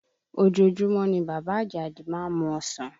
Ojoojúmọ́ ni bàbá Àjàdí má ń mu ọsàn